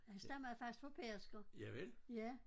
Og han stammede faktisk fra Pedersker ja